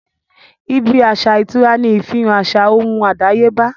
ibí aṣa ìtura ní ìfihàn àṣà ohùn àdáyébá